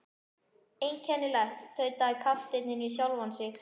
Einkennilegt, tautaði kapteinninn við sjálfan sig.